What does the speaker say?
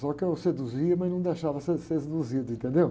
Só que eu seduzia, mas não deixava ser, ser seduzido, entendeu?